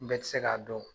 Bɛɛ tɛ se k'a dɔn